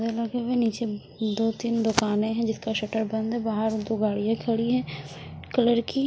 नीचे दो तीन दुकाने है जिसका शटर बंद है बाहर दो गाड़ियां खड़ी है कलर की--